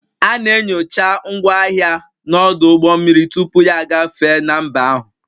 A na-enyocha ngwaahịa n'ọdụ ụgbọ mmiri tupu ya agafee na mba ahụ